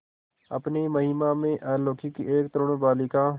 अपनी महिमा में अलौकिक एक तरूण बालिका